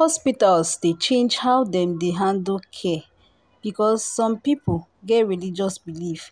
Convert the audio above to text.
hospitals dey change how dem dey handle care because some people get religious beliefs